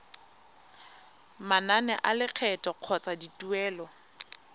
manane a lekgetho kgotsa dituelo